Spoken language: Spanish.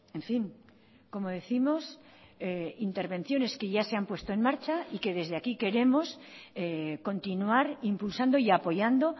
en fin como décimos intervenciones que ya se han puesto en marcha y que desde aquí queremos continuar impulsando y apoyando